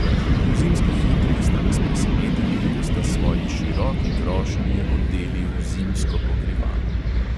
V zimskih jutrih sta nas presenetili, ko sta svoji široki krošnji odeli v zimsko pokrivalo.